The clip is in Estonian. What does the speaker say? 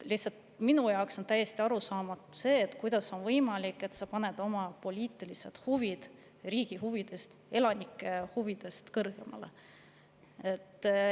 Minu jaoks on lihtsalt täiesti arusaamatu, kuidas on võimalik, et sa paned oma poliitilised huvid riigi ja elanike huvidest kõrgemale.